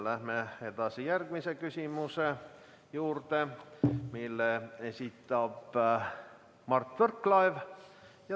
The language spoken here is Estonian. Läheme edasi järgmise küsimuse juurde, mille esitab Mart Võrklaev.